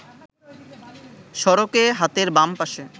সড়কে হাতের বাম পাশে